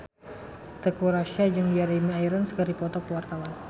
Teuku Rassya jeung Jeremy Irons keur dipoto ku wartawan